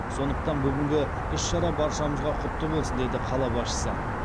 сондықтан бүгінгі іс шара баршамызға құтты болсын деді қала басшысы